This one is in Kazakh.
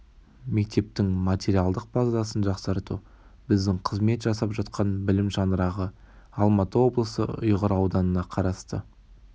мектептің материалдық базасын жақсарту біздің қызмет жасап жатқан білім шаңырағы алматы облысы ұйғыр аудынына қарасты